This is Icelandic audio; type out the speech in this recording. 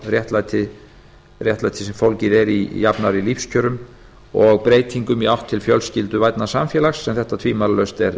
réttlæti sem fólgið er í jafnari lífskjörum og breytingum í átt til fjölskylduvænna samfélags sem þetta tvímælalaust er